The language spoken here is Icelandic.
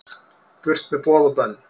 Burt með boð og bönn